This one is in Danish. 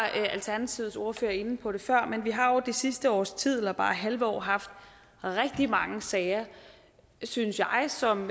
alternativets ordfører inde på det før men vi har jo det sidste års tid eller bare halve år haft rigtig mange sager synes jeg som